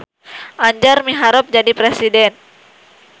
Anjar miharep jadi presiden